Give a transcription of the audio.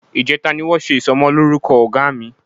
Ìjẹta ni wọ́n ṣe ìsọmọlórúkọ ọmọ Ọ̀gá mi